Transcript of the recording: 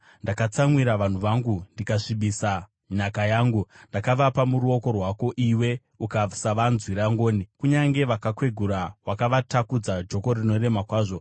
Ndakatsamwira vanhu vangu ndikasvibisa nhaka yangu; ndakavapa muruoko rwako, iwe ukasavanzwira ngoni. Kunyange vakakwegura wakavatakudza joko rinorema kwazvo.